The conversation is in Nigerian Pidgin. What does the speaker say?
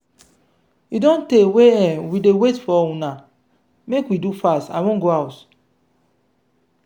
e don tey wey um we dey wait for una make we do fast i wan go house.